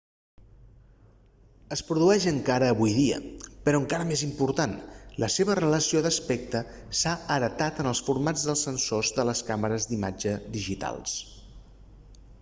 es produeix encara avui dia però encara més important la seva relació d'aspecte s'ha heretat en els formats dels sensors de les càmeres d'imatge digitals